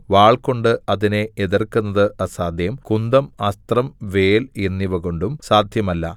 വാൾകൊണ്ട് അതിനെ എതിർക്കുന്നത് അസാദ്ധ്യം കുന്തം അസ്ത്രം വേൽ എന്നിവ കൊണ്ടും സാദ്ധ്യമല്ല